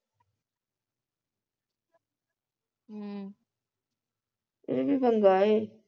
ਇਹ ਵੀ ਪੰਗਾ ਏ